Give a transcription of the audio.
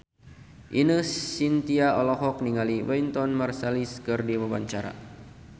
Ine Shintya olohok ningali Wynton Marsalis keur diwawancara